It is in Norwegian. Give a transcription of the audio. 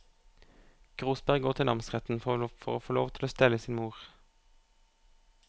Grosberg går til namsretten for å få lov til å stelle sin mor.